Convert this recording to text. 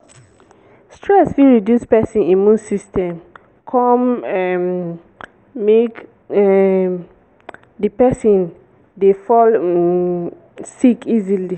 stress fit reduce person immune system come um make um make di person dey fall um sick easily